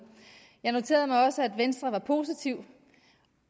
jeg noterede mig også at venstre er positiv